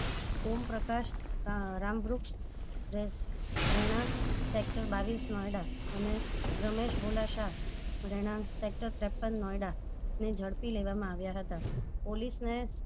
ઓમ પ્રકાશ રામ બૃક્ષ રેણક sector બાવીસ નોયડા અને રમેશ ભોલા શાહ રેણક ત્રેપન નોયડા ને જડપી લેવામાં આવ્યા હતા police ને